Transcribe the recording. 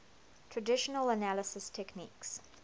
traditional analysis techniques